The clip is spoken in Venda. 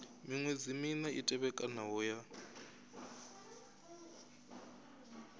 miṅwedzi mina i tevhekanaho ya